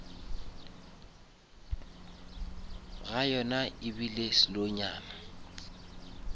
ga yona ebile slow nyana